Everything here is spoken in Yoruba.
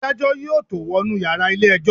Adájọ́ yóò tó wọnú yàrá ilé ẹjọ́.